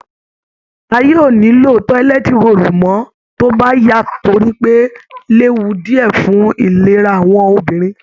Ayé ò ní lo tọ́lẹ́t róòlù mọ́ tó bá yá torí pé ó léwu díẹ̀ fún ìlera àwọn obìnrin